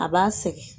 A b'a sɛgɛn